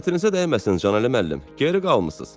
"Xətirinizə dəyməsin Canəli müəllim, geri qalmısız."